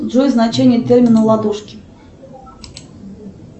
джой значение термина ладошки